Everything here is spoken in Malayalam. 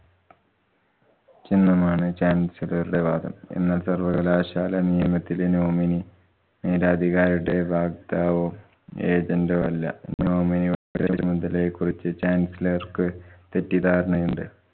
ച്ചെന്നുമാണ് chancellor റുടെ വാദം. എന്നാല്‍ സര്‍വ്വകലാശാല നിയമത്തിലെ nominee മേലധികാരിയുടെ വക്താവോ agent ഓ അല്ല. nominee യുടെ കുറിച്ച് chancellor ക്ക് തെറ്റിദ്ധാരണയുണ്ട്.